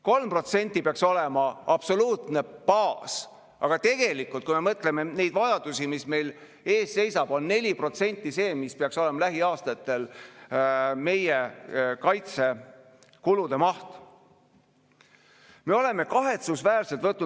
3% peaks olema absoluutne baas, aga tegelikult, kui me mõtleme neid vajadusi, mis meil ees seisavad, on 4% see, mis peaks olema lähiaastatel meie kaitsekulude maht.